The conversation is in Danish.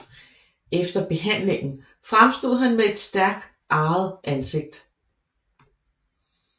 Efter behandlingen fremstod han med et stærkt arret ansigt